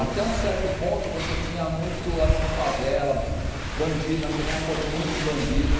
Até um certo ponto você tinha muito assim favela, bandido, nós chegamos a correr muito de bandido.